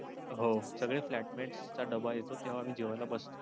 हो सगळे flatmates च डब्बा येतो तेव्हा मी जेवायला बसतो.